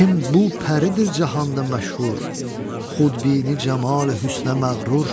Kim bu pəridir cahanda məşhur, xudbini camali hüsnə məğrur.